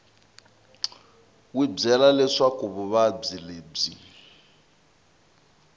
wi byele leswaku vuvabyi lebyi